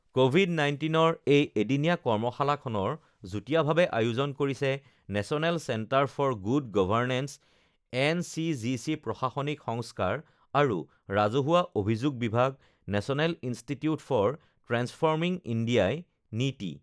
covid ১৯ৰ এই এদিনীয়া কৰ্মশালাখনৰ যুটীয়াভাৱে আয়োজন কৰিছে National Centre for Good Governance NCGG, প্ৰশাসনিক সংস্কাৰ আৰু ৰাজহুৱা অভিযোগ বিভাগ আৰু National Institute for Transforming ইণ্ডিয়াই নিটি